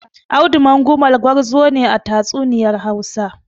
Audu Mangumal gwarzo ne a tatsuniyar Hausa.